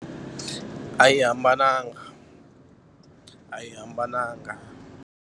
A yi hambananga a yi hambananga.